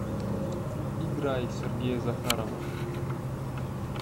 играй сергея захарова